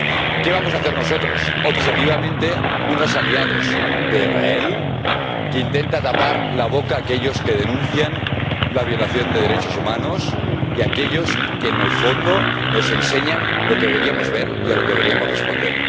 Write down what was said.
¿Qué vamos a hacer nosotros, objetivamente unos aliados de Israel, que intenta tapar la boca a aquellos que denuncian la violación de derechos humanos y a aquellos que, en el fondo, nos enseñan lo que deberíamos ver y a lo que deberíamos responder?